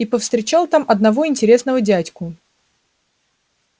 и повстречал там одного интересного дядьку